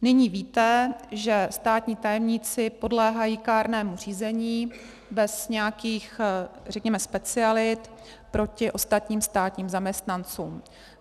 Nyní víte, že státní tajemníci podléhají kárnému řízení bez nějakých, řekněme, specialit proti ostatním státním zaměstnancům.